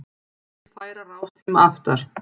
Vill færa rástíma aftar